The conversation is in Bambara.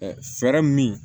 fɛɛrɛ min